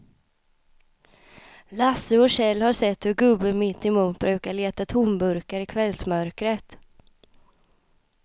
Lasse och Kjell har sett hur gubben mittemot brukar leta tomburkar i kvällsmörkret.